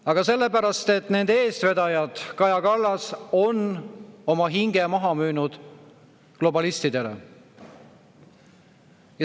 Aga sellepärast, et nende eestvedajad, nagu Kaja Kallas, on oma hinge maha müünud globalistidele.